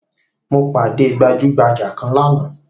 Mo pàdé gbajugbaja kan lánàá